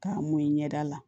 K'a mun i ɲɛ da la